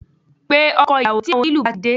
Pe ọkọ ìyàwó tí àwọn onílù bá ti de